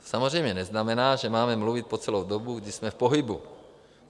To samozřejmě neznamená, že máme mluvit po celou dobu, kdy jsme v pohybu.